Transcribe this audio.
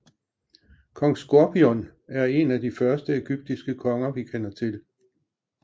Kong Skorpion er en af de første egyptiske konger vi kender til